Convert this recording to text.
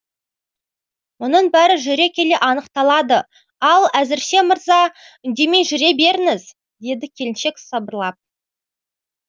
мұның бәрі жүре келе анықталады ал әзірше мырза үндемей жүре беріңіз деді келіншек сыбырлап